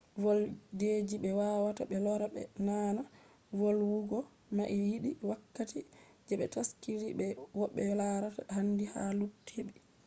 voldeji be wawata be lora be naana volwugo mai yidi wakkati je be taskidi be ko’be larata handi ha luttube